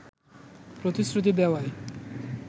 প্রতিশ্রুতি দেওয়ায়